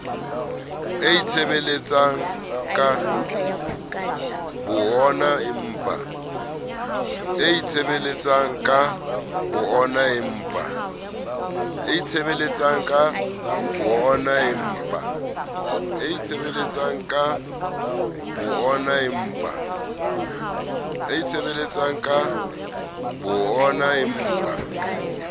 a itshebeletsang ka bo oonaempa